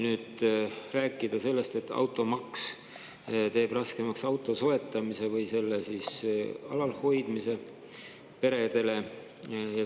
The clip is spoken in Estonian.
Automaks teeb peredele raskemaks auto soetamise või selle alalhoidmise.